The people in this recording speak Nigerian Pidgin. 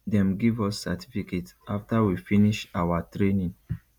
dem give us certificate after we finish awa training